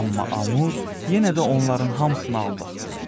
Amma Amur yenə də onların hamısını aldatdı.